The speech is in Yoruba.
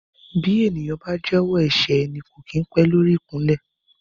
Bí ènìyàn bá jẹ́wọ́ ẹ̀ṣẹ̀ ẹni kò kín pé lórí ikunle.